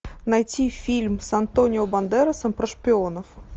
найти фильм с антонио бандерасом про шпионов